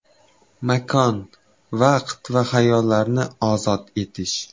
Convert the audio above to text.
Makon, vaqt va xayollarni ozod etish!